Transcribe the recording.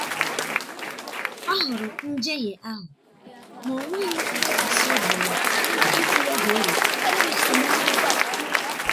ọ hụrụ njehie ahụ ma o nweghị ntụkwasị obi ma ikwu ya ga-eweta esemokwu.